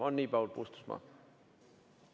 On nii Paul Puustusmaa?